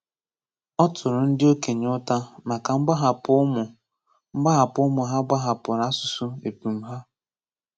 Ọ tụrụ ndị okenye ụta maka mgbahapụ ụmụ mgbahapụ ụmụ ha gbahapụrụ asụsụ epum ha.